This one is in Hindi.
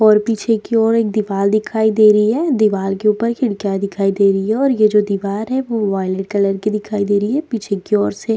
और पीछे की ओर एक दीवाल दिखाई दे रही है। दीवाल के ऊपर खिड़कियां दिखाई दे रही हैं और ये जो दीवार है वो वॉइलेट कलर की दिखाई दे रही है। पीछे की ओर से --